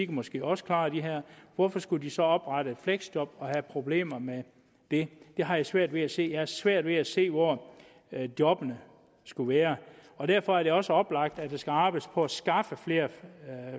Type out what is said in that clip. måske også klare det her hvorfor skulle man så oprette et fleksjob og have problemer med det det har jeg svært ved at se jeg har svært ved at se hvor jobbene skulle være derfor er det også oplagt at der skal arbejdes på at skaffe flere